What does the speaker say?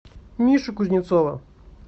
мишу кузнецова